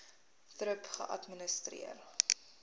thrip geadministreer